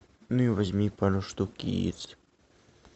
ну и возьми пару штук яиц